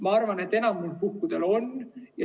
Ma arvan, et enamikul puhkudel on.